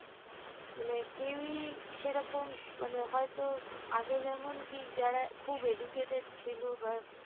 মানে কেউই সেরকম মানে হয়তো আগে যেমন কি যারা খুব educated ছিল